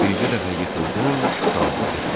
Bircə dəfə yıxıldın, qurtardı getdi.